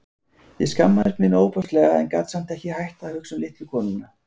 Ég skammaðist mín ofboðslega en gat samt ekki hætt að hugsa um litlu konuna.